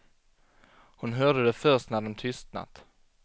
Hon hörde det först när de tystnat.